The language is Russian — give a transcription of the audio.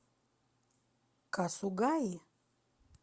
касугаи